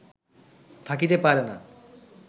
থাকিতে পারে না